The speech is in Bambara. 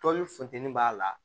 Tɔnni funteni b'a la